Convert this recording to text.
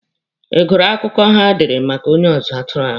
Ị gụrụ akụkọ ha dere maka onye ọzụzụ atụrụ ahụ?